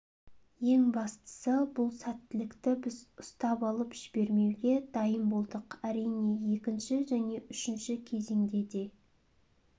ең бастысы бұл сәттілікті біз ұстап алып жібермеуге дайын болдық әрине екінші және үшінші кезеңде де